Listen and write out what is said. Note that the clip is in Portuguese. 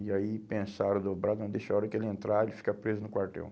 E aí pensaram, dobraram, deixaram a hora que ele entrar, ele fica preso no quartel.